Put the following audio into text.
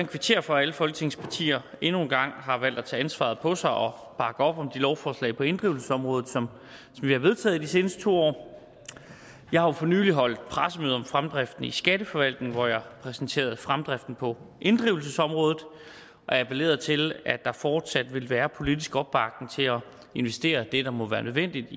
kvittere for at alle folketingets partier endnu en gang har valgt at tage ansvaret på sig og bakke op om de lovforslag på inddrivelsesområdet som vi har vedtaget de seneste to år jeg har jo for nylig holdt pressemøde om fremdriften i skatteforvaltningen hvor jeg præsenterede fremdriften på inddrivelsesområdet og appellerede til at der fortsat vil være politisk opbakning til at investere det der må være nødvendigt